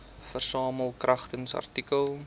versamel kragtens artikel